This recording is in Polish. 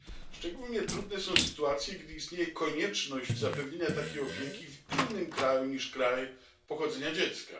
Szczególnie trudne są sytuacje, gdy istnieje konieczność zapewnienia takiej opieki w innym kraju niż kraj pochodzenia dziecka.